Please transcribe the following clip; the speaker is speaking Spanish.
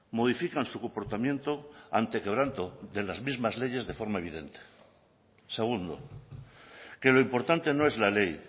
modifican su comportamiento ante quebranto de las mismas leyes de forma evidente segundo que lo importante no es la ley